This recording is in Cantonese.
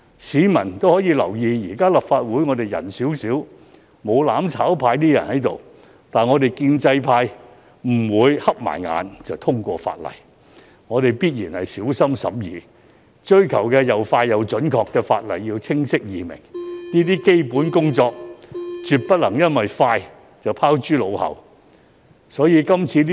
市民留意到，現時立法會議員人數較少，沒有"攬炒派"議員存在，但我們建制派也不會閉上眼就通過法例，我們必然小心審議，追求法例又快又準、清晰易明，絕不會因為要"快"便將基本工作拋諸腦後。